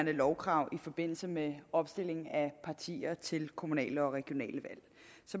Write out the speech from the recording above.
lovkrav i forbindelse med opstilling af partier til kommunale og regionale